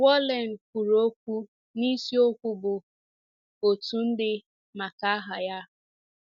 Wallen kwuru okwu n’isiokwu bụ, Otu Ndị Maka Aha Ya.